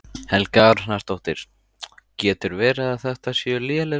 Helga Arnardóttir: Getur verið að þetta séu léleg laun?